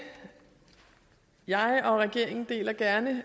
jeg og regeringen deler gerne